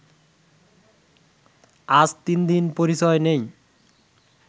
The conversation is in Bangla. আজ তিন দিন পরিচয় নেই